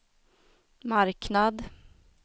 marknad